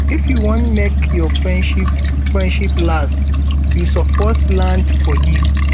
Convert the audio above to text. if you wan make your friendship friendship last um you suppose um learn to forgive